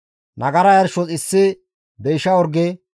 nagara yarshos issi deysha orge,